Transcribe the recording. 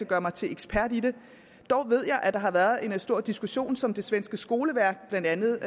gøre mig til ekspert i det dog ved jeg at der har været en stor diskussion som det svenske skoleverk blandt andet